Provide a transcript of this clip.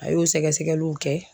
A y'o sɛgɛsɛgɛliw kɛ